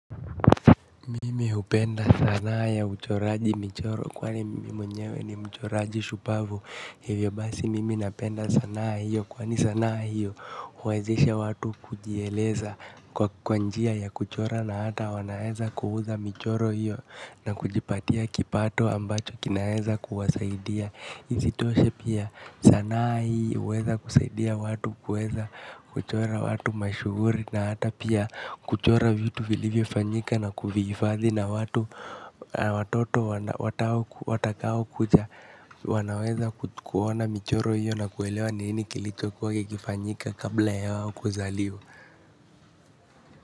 Mimi upenda sanaa ya uchoraji michoro kwa ni mimi mwenyewe ni mchoraji shupavu. Hivyo basi mimi napenda sanaa hiyo kwani sanaa hiyo uwezeshe watu kujieleza kwa kwa njia ya kuchora na hata wanaeza kuuza michoro hiyo. Na kujipatia kipato ambacho kinaeza kuwasaidia. Isitoshe pia sanaa hii uweza kusaidia watu kuweza kuchora watu mashuguri. Na hata pia kuchora vitu vilivyo fanyika na kuvihifadhi na watoto watakao kuja. Wanaweza kuona michoro hiyo na kuelewa nini kilicho kwa kikifanyika kabla yao kuzaliwa.